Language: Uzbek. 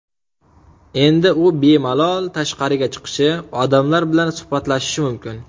Endi u bemalol tashqariga chiqishi, odamlar bilan suhbatlashishi mumkin.